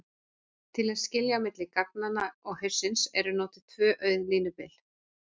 Til að skilja á milli gagnanna og haussins eru notuð tvö auð línubil.